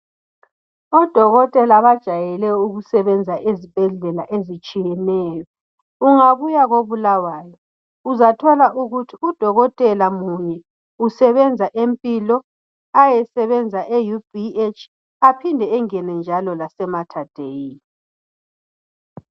Odokotela bajayele ukusebenza ezibhedlela ezitshiyeneyo. Ungabuya koBulawayo uzathola ukuthi udokotela munye usebenza eMpilo ayesebenza eUBH aphinde engene njalo lase Matadei.